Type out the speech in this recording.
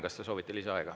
Kas te soovite lisaaega?